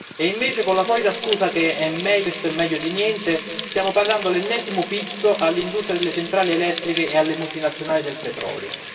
e invece con la solita scusa che questo è meglio di niente stiamo pagando l'ennesimo pizzo all'industria delle centrali elettriche e alle multinazionali del petrolio.